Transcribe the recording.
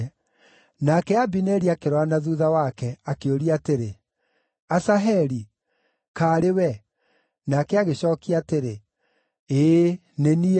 Nake Abineri akĩrora na thuutha wake, akĩũria atĩrĩ, “Asaheli, kaarĩ we?” Nake agĩcookia atĩrĩ, “Ĩĩ nĩ niĩ.”